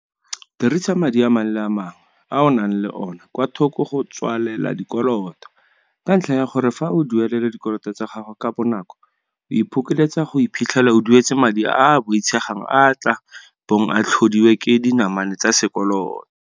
Dirisa madi a mangwe le a mangwe a o nang le ona kwa thoko go tswalela dikoloto, ka ntlha ya gore fa o duelela dikoloto tsa gago ka bonako o iphokoletsa go iphitlhela o duetse madi a a boitshegang a a tla bong a tlhodilwe ke dinamane tsa sekoloto.